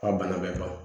A bana bɛ ban